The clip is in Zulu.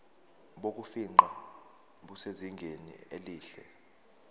bokufingqa busezingeni elihle